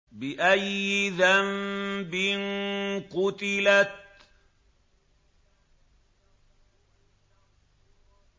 بِأَيِّ ذَنبٍ قُتِلَتْ